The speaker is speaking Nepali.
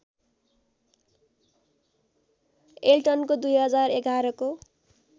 एल्टनको २०११ को